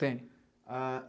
Tem. A